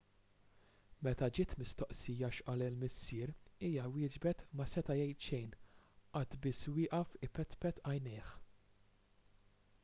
meta ġiet mistoqsija x'qal il-missier hija wieġbet ma seta' jgħid xejn qagħad biss wieqaf ipetpet għajnejh